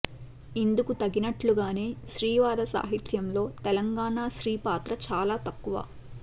ఇందుకు తగినట్లుగానే స్త్రీవాద సాహిత్యంలో తెలంగాణా స్త్రీ పాత్ర చాలా తక్కువ